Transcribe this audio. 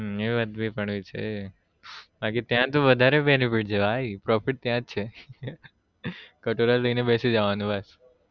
હમ એ વાત પણવી છે બાકી ત્યાં તો વધારે benefit છે ભાઈ profit ત્યાં જ છે કાટોરા લઇ ને બેસી જવાનું બસ